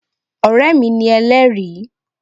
Ọ̀rẹ́ mi ni Elẹ́ẹ̀rí